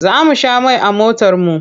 Za mu sha mai a motarmu.